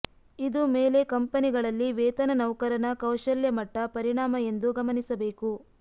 ಇದು ಮೇಲೆ ಕಂಪನಿಗಳಲ್ಲಿ ವೇತನ ನೌಕರನ ಕೌಶಲ್ಯ ಮಟ್ಟ ಪರಿಣಾಮ ಎಂದು ಗಮನಿಸಬೇಕು